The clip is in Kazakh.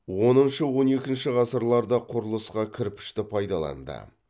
оныншы он екінші ғасырларда құрылысқа кірпішті пайдаланды